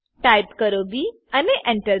type કરો B અને Enter